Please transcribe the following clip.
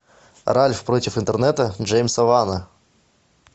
ральф против интернета джеймса лана